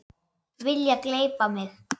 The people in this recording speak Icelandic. Vilja gleypa mig.